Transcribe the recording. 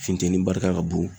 Funteni barika ka bon